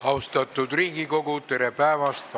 Austatud Riigikogu, tere päevast!